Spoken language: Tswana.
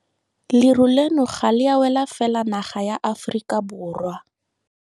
Leru leno ga le a wela fela naga ya Aforika Borwa.